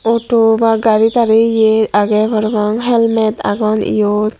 photo ba gari tari ye age prapang helmet agon yot.